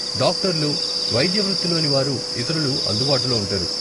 డాక్టర్లు, వైద్య వృత్తిలోనివారు ఇతరులు అందుబాటులో ఉంటారు.